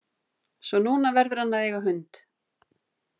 Svo að núna verður hann að eiga hund.